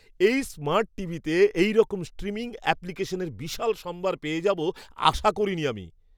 এই স্মার্ট টিভিতে এইরকম স্ট্রিমিং অ্যাপ্লিকেশনের বিশাল সম্ভার পেয়ে যাব আশা করিনি আমি!